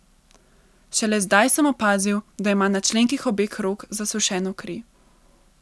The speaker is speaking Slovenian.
Šele zdaj sem opazil, da ima na členkih obeh rok zasušeno kri.